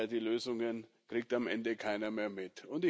Die Lösungen kriegt am Ende keiner mehr mit.